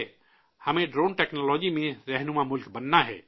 ہمیں drone technology میں سرکردہ ملک بننا ہے